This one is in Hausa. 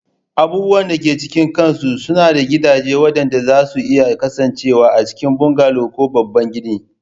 Abubuwan da ke cikin kansu suna da gidaje waɗanda zasu iya kasancewa a cikin bungalow ko babban gini